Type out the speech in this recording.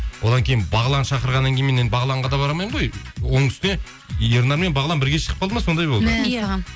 одан кейін бағлан шақырғаннан кейін мен енді бағланға да бара алмаймын ғой оның үстіне ернар мен бағлан бірге шығып қалды ма сондай болды